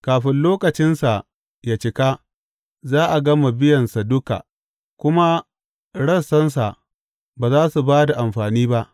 Kafin lokacinsa yă cika, za a gama biyansa duka, kuma rassansa ba za su ba da amfani ba.